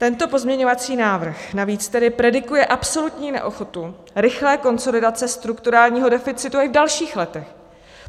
Tento pozměňovací návrh navíc tedy predikuje absolutní neochotu rychlé konsolidace strukturálního deficitu i v dalších letech.